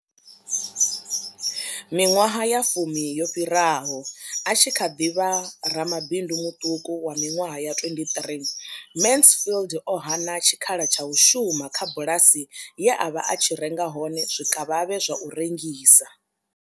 Miṅwaha ya fumi yo fhiraho, a tshi kha ḓi vha ramabindu muṱuku wa miṅwaha ya 23, Mansfield o hana tshikhala tsha u shuma kha bulasi ye a vha a tshi renga hone zwikavhavhe zwa u rengisa.